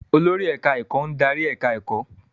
Olórí ẹ̀káá-ẹ̀kọ́ ń darí ẹ̀ká ẹ̀kọ́